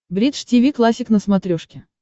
бридж тиви классик на смотрешке